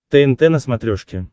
тнт на смотрешке